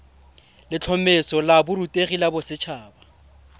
letlhomeso la borutegi la boset